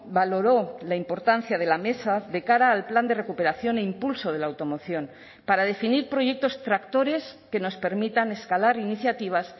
valoró la importancia de la mesa de cara al plan de recuperación e impulso de la automoción para definir proyectos tractores que nos permitan escalar iniciativas